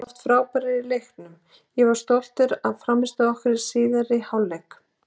Við vorum oft frábærir í leiknum, ég var stoltur af frammistöðu okkar í síðari hálfleik.